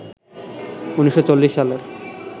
১৯৪০ সালের